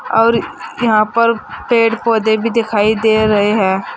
और यहां पर पेड़ पौधे भी दिखाई दे रहे हैं।